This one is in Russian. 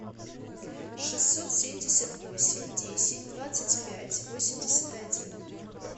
шестьсот семьдесят восемь десять двадцать пять восемьдесят один